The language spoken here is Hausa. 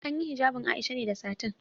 An yi hijabin Aisha ne da satin.